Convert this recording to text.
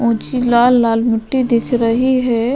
ऊंची लाल लाल मुट्ठी दिख रही है।